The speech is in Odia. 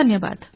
ଧନ୍ୟବାଦ